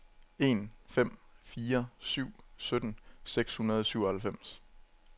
en fem fire syv sytten seks hundrede og syvoghalvfems